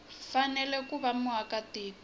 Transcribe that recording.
fanele ku va muaka tiko